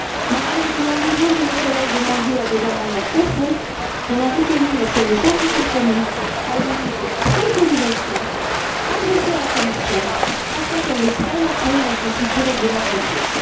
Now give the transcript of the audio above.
Malgré les demandes nombreuses de mes collègues donnant lieu à des amendements au fond, je m'en suis tenue et c'est le sens du compromis à une liste de préconisations adressées à la Commission afin qu'elle les prenne en compte dans son futur règlement de contrôle.